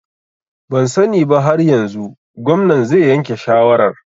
Ban sani ba har yanzu, gwamnan zai yanke shawarar